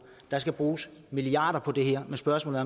der skal bruges milliarder på det her men spørgsmålet